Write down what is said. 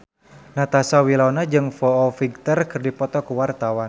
Natasha Wilona jeung Foo Fighter keur dipoto ku wartawan